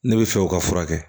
Ne bɛ fɛ o ka furakɛ